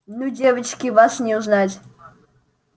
ну девочки вас не узнать